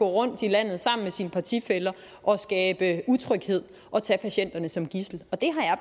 rundt i landet sammen med sine partifæller og skabe utryghed og tage patienterne som gidsler og det